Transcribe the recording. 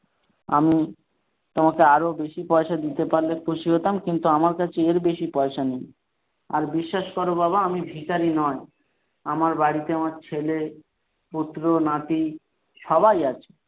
আমি তোমাকে আরো বেশি পয়সা দিতে পারলে খুশি হতাম কিন্তু আমার কাছে এর বেশী পয়সা নেই আর বিশ্বাস করো বাবা আমি ভিখারী নয় আমার বাড়িতে আমার ছেলে পুত্র নাতি সবাই আছে।